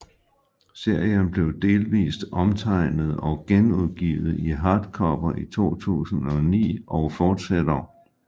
Serien blev delvist omtegnet og genudgivet i hardcover i 2009 og fortsætter